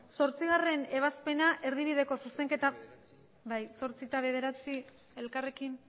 zortzigarrena ebazpena erdibideko zuzenketa bai zortzi eta bederatzi elkarrekin